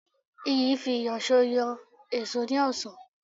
Iyì fi ìyọ̀sọ́ yọ èṣó ní ọ̀sán